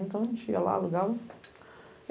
Então, a gente ia lá, alugava.